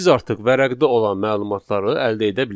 Biz artıq vərəqdə olan məlumatları əldə edə bilərik.